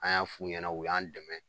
An y'a f'u ɲɛna u y'an dɛmɛ